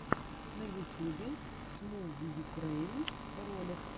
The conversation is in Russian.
на ютьюбе смувйукрэйн ролик